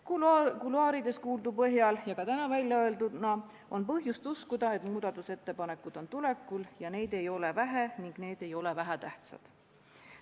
Kuluaarides kuuldu ja ka täna väljaöeldu põhjal on põhjust uskuda, et muudatusettepanekud on tulekul ja neid ei ole vähe ning need ei ole vähetähtsad.